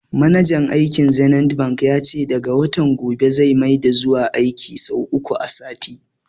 Manajan bankin zenith bank ya ce daga watan gobe zai maida zuwa aiki sau uku a sati